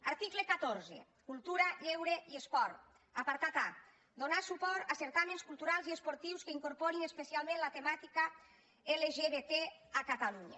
article catorze cultura lleure i esport apartat a donar suport a certàmens culturals i esportius que incorporin especialment la temàtica lgbt a catalunya